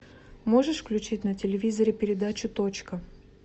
можешь включить на телевизоре передачу точка